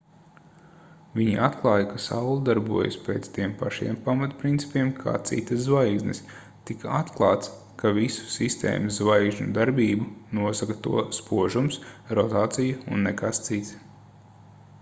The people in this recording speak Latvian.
viņi atklāja ka saule darbojas pēc tiem pašiem pamatprincipiem kā citas zvaigznes tika atklāts ka visu sistēmas zvaigžņu darbību nosaka to spožums rotācija un nekas cits